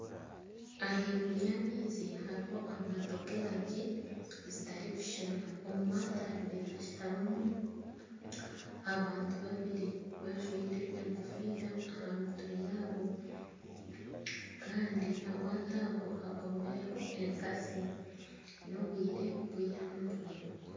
Ahaiguru y'amaizi hariho obwato bw'erangi zitarikushushana. Omu maato abari hashutamimu abantu babiri bajwire enkofiira aha mitwe yaabo kandi amaato ago hakomireho enkatsi. Ni obwire bw'eihangwe.